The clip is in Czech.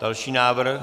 Další návrh.